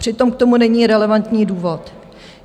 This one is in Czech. Přitom k tomu není relevantní důvod.